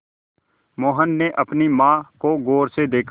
मोहन ने अपनी माँ को गौर से देखा